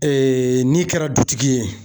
n'i kɛra dutigi ye.